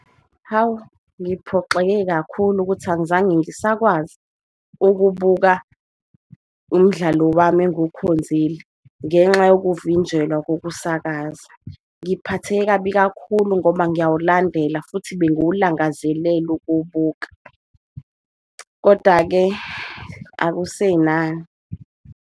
Hawu, ngiphoxeke kakhulu ukuthi angizange ngisakwazi ukubuka umdlalo wami enguwukhonzile ngenxa yokuvinjelwa kokusakaza. Ngiphatheke kabi kakhulu ngoba ngiyawulandela futhi benguwulangazelela ukuwubuka, koda-ke, akusenani.